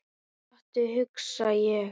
Stattu, hugsa ég.